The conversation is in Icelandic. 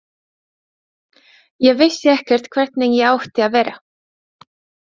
Ég vissi ekkert hvernig ég átti að vera.